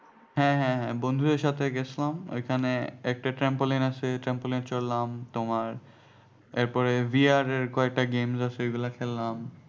হ্যাঁ হ্যাঁ হ্যাঁ বন্ধুদের সাথে গেছিলাম ঐখানে একটা trampoline আছে trampoline এ চড়লাম তোমার এরপরে VR এর কয়েকটা games আছে ঐগুলা খেললাম